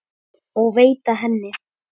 og veita henni.